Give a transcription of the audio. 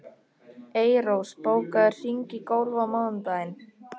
Eyrós, bókaðu hring í golf á mánudaginn.